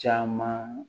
Caman